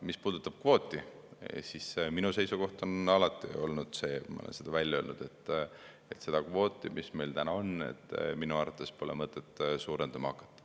Mis puudutab kvooti, siis minu seisukoht on alati olnud ja ma olen seda välja öelnud, et seda kvooti, mis meil täna on, minu arvates pole mõtet suurendama hakata.